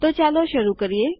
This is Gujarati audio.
તો ચાલો શરૂ કરીએ